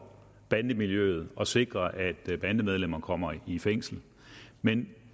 bandemiljøet og sikre at bandemedlemmer kommer i fængsel men